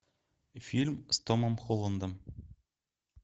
фильм с томом холландом